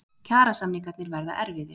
Kjarasamningarnir verða erfiðir